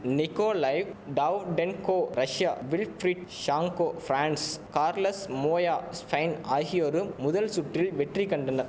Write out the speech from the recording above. Nikolaev Davydenko Russia Wilfried Tsonga France Carlos Moya Spain ஆகியோரும் முதல் சுற்றில் வெற்றி கண்டன